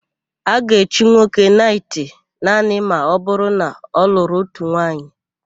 A ga-echi nwoke naịtị naanị ma ọbụrụ na ọ lụrụ ótù nwaanyị.